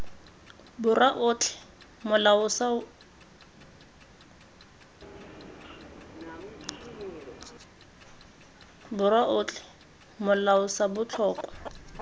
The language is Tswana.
borwa otlhe molao sa botlhokwa